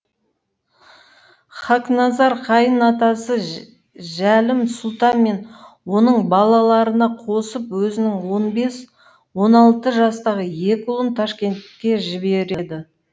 хақназар қайын атасы жәлім сұлтан мен оның балаларына қосып өзінің он бес он алты жастағы екі ұлын ташкентке жібереді